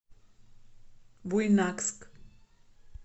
буйнакск